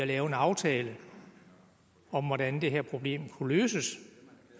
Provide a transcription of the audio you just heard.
lave en aftale om hvordan det her problem kunne løses